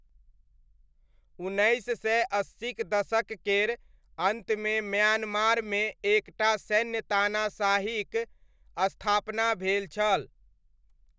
उन्नैस सय अस्सीक दशक केर अन्तमे म्यान्मारमे एक टा सैन्य तानाशाहीक स्थापना भेल छल।